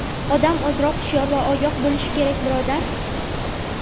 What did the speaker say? Odam ozroq hushyor va ogoh bo‘lishi kerak, birodar.